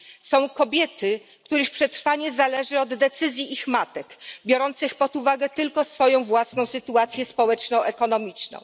Są kobiety, których przetrwanie zależy od decyzji ich matek, biorących pod uwagę tylko swoją własną sytuację społeczno ekonomiczną.